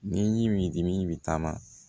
Ni dimi bi taama